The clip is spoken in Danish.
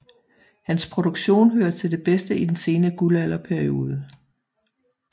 Hans produktion hører til det bedste i den sene guldalderperiode